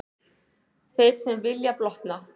Þeir sem vilja blotna.